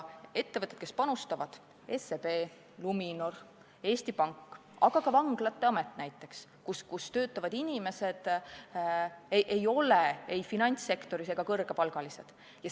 Ettevõtted, kes panustavad, on SEB, Luminor, Eesti Pank, aga näiteks ka vanglate amet, mis ei tegutse finantssektoris ja kus töötavad inimesed ei ole kõrgepalgalised.